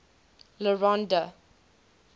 le rond d